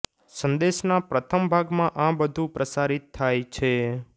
સંદેશના પ્રથમ ભાગમાં આ બધું પ્રસારિત થાય છે